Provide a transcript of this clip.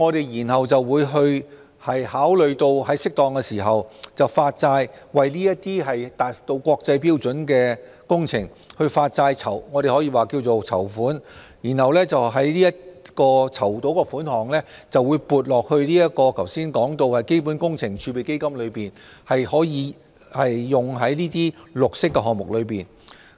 然後，我們會考慮於適當時候在符合國際綠色債券發行標準的情況下發債，或稱為籌款，籌得的款項會撥入剛才提及的基本工程儲備基金，用於綠色項目之上。